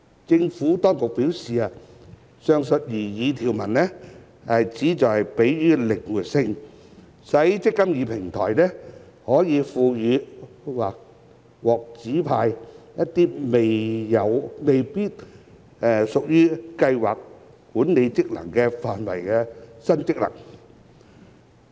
政府當局表示，上述擬議條文旨在給予靈活性，使"積金易"平台可獲賦予或獲指派一些未必屬於計劃管理職能範圍的新職能。